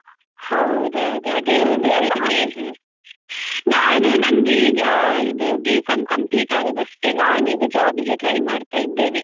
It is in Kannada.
ಹೌದೌದು ನಾನು ನಂದು ಈಗ ಇದು B.Com complete ಆದದ್ದಷ್ಟೆ ನಾನೀಗ job ಗೆ try ಮಾಡ್ತಾ ಇದ್ದೇನೆ.